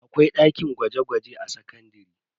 Akwai dakin gwaje-gwaje a sakandare.